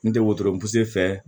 N tɛ wotoro fɛ